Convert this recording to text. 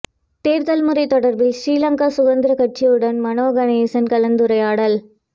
தேர்தல் முறை தொடர்பில் ஸ்ரீலங்கா சுதந்திர கட்சியுடன் மனோ கணேசன் கலந்துரையாடல்